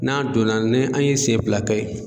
N'an donna ni an ye siyɛn fila kɛ